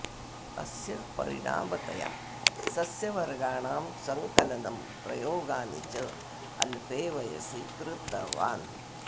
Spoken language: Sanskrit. अस्य परिणामतया सस्यवर्गाणां सङ्कलनं प्रयोगानि च अल्पे वयसि कृतवान्